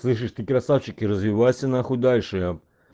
слышишь ты красавчик и развивайся нахуй дальше ээ